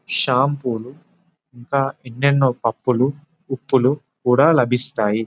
Shampoo లు ఇంకా ఎన్నెన్నో పప్పులు ఉప్పులు కూడా లభిస్తాయి.